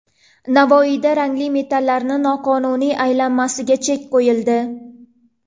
Navoiyda rangli metallarning noqonuniy aylanmasiga chek qo‘yildi.